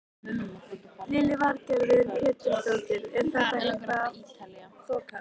Lillý Valgerður Pétursdóttir: Er þetta eitthvað að þokast?